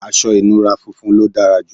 aṣọ ìnura funfun ló dára jù